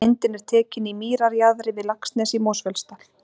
Myndin er tekin í mýrarjaðri við Laxnes í Mosfellsdal.